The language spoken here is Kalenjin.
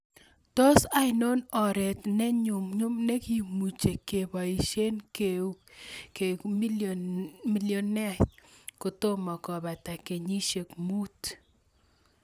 Tos' ainon ooreet ne nyumnyum ne kimuche ke boisyen keuk millioneait kotomo kobata kenyisiek muut